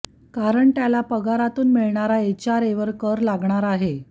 कारण त्याला पगारातून मिळणारा एचआरएवर कर लागणार आहे